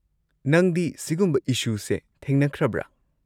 ꯅꯪꯗꯤ ꯁꯤꯒꯨꯝꯕ ꯏꯁꯨꯁꯦ ꯊꯦꯡꯅꯈ꯭ꯔꯕ꯭ꯔ?